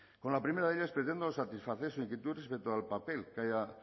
con la primera de ellas pretendo satisfacer su inquietud respecto al papel que haya